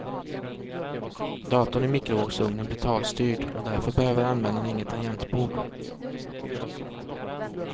Datorn i mikrovågsugnen blir talstyrd och därför behöver användarna inget tangentbord.